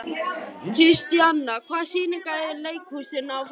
Kristíanna, hvaða sýningar eru í leikhúsinu á föstudaginn?